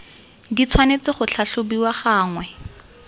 di tshwanetse go tlhatlhobiwa gangwe